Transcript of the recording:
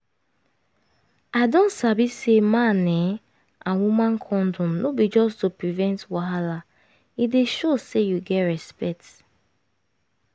i don sabi say man[um]and woman condom no be just to prevent wahala e dey show say you get respect